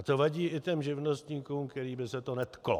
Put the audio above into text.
A to vadí i těm živnostníkům, kterých by se to netklo.